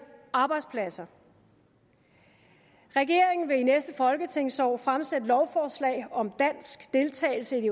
arbejdspladser regeringen vil i næste folketingsår fremsætte lovforslag om dansk deltagelse i det